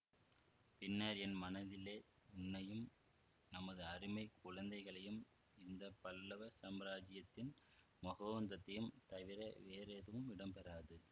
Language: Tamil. பின்னர் என் மனதிலே உன்னையும் நமது அருமை குழந்தைகளையும் இந்த பல்லவ சாம்ராஜ்யத்தின் மகோந்நதத்தையும் தவிர வேறெதுவும் இடம்பெறாது